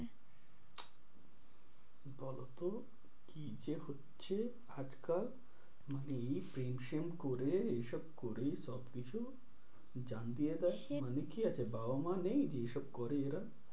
কত কি যে হচ্ছে আজ কাল মানে এই প্রেম-সেম করে এই সব করে সব কিছু দিয়ে দেয় মানে কি আছে বাবা মা নেই যে এইসব করে এরা?